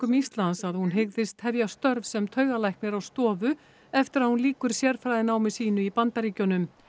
Íslands að hún hygðist hefja störf sem taugalæknir á stofu eftir að hún lýkur sérfræðinámi sínu í Bandaríkjunum